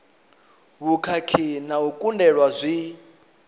vhukhakhi na u kundelwa zwi